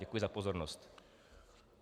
Děkuji za pozornost.